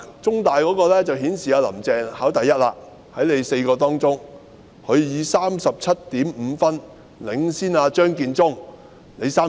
中大的民調顯示"林鄭"在4人之中考第一，她以 37.5 分領先37分的張建宗。